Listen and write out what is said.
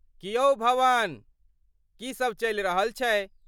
की यौ भवन, की सभ चलि रहल छै?